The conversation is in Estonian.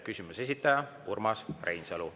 Küsimuse esitaja on Urmas Reinsalu.